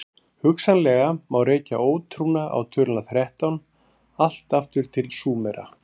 Hugsanlega má rekja ótrúna á töluna þrettán allt aftur til Súmera.